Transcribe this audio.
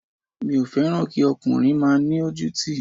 Mi ò fẹ́ràn kí ọkùnrin má ni ojútì